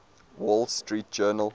wall street journal